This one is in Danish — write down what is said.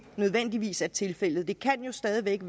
nødvendigvis er tilfældet det kan jo stadig væk